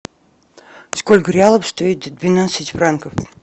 сколько реалов стоит двенадцать франков